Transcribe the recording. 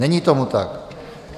Není tomu tak.